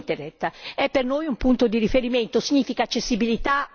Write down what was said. L'open data, l'open Internet, è per noi un punto di riferimento.